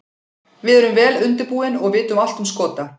Við erum vel undirbúin og vitum allt um Skota.